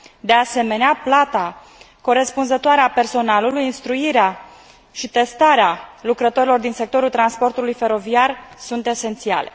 De asemenea, plata corespunzătoare a personalului, instruirea și testarea lucrătorilor din sectorul transportului feroviar sunt esențiale.